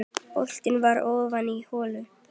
Boltinn var ofan í holu.